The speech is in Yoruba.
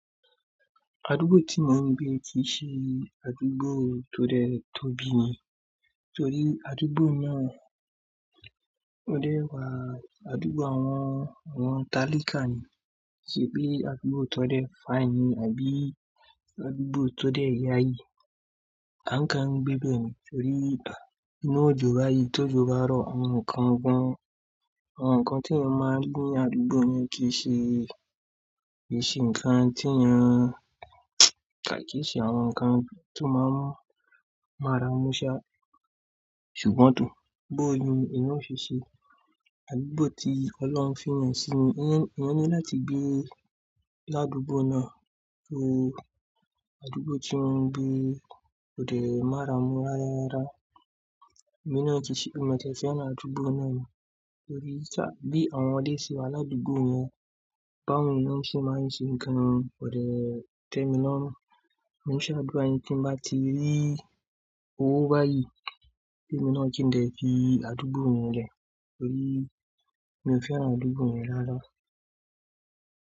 Àdúgbò tí mo ń gbé kì í ṣe àdúgbò tó dẹ tóbi ni. Torí àdúgbò náà ó dẹwà, àdúgbò àwọn, àwọn talíkà ni. Kì í ṣe pé àdúgbò tó dẹ fáàyìn ni àbí àdúgbò tó dẹ ìyàayi. A ń kán gbẹ be ni, torí inú òjòó báyìí, tó jòó bá rọ̀, àwọn nǹkan gan-an, àwọn nǹkan tí a máa ń gbé ní àdúgbò ni kì í ṣe, kì í ṣe nǹkan tí a ń, à kì í ṣe àwọn nǹkan tó máa ń, máa ra mú ṣá. Ṣùgbọ́n tò, bó ò ni eeyan o ṣe ṣe? Àdúgbò tí ọlọ́run fí yàn sí mi, ìyẹn, ìyẹn ni láti gbé ládùúgbò náà, so àdúgbò tí mò ń gbé kó dẹ mára mú rárarara. Èmi náà kì í ṣe, emi maa tie fẹ́ràn ádùúgbò náà ni. Torí sá, bí àwọn ọdẹ ṣi wà ládùúgbò náà, báwo ni wọ́n ṣe máa ń ṣe nǹkan kó dẹ tẹ mi lọ́rún. Mo se lo ádúra yin, tí n bá ti rí owó báyìí ki èmi náà kí n lè fi àdúgbò mi lẹ̀. Torí mi ò fẹ́ wà ládùúgbò mi rárá.